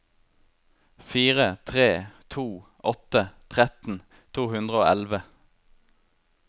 fire tre to åtte tretten to hundre og elleve